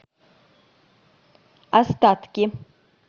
остатки